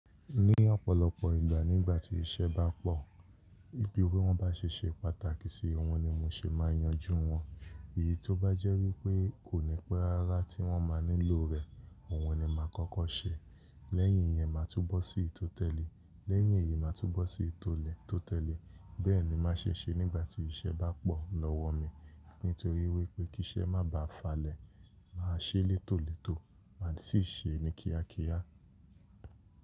Ní ọ̀pọ̀lọpọ̀ ìgbà nígbà tí iṣẹ́ bá pọ̀, bí wọ́n bá ṣe ṣe pàtàkì sí, òun ni mo ṣè máa yanjú wọn. Èyí tó bá jẹ́ wípé kò ní pé rárá tí wọ́n máa nílò rẹ̀, òun ni máa kọ́kọ́ ṣe. Lẹ́yìn yẹn máa túbọ̀ sí i tó tẹ́lẹ̀, lẹ́yìn èyí máa túbọ̀ sí i tó lẹ̀ tó tẹ́lẹ̀. Bẹ́ẹ̀ ni mo máa ṣe ṣe nígbà tí iṣẹ́ bá pọ̀ lọ́wọ́ mi. Nítorí wípé kí iṣẹ́ má bà falẹ̀, màá ṣe létòlètò, màá sì ṣe ní kíákíá.